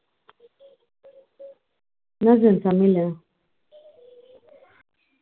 என்ன செஞ்ச சமயலு